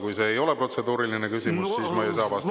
Kui see ei ole protseduuriline küsimus, siis ma ei saa vastata.